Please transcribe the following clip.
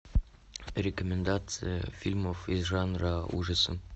рекомендации фильмов из жанра ужасы